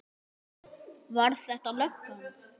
Var þetta löggan?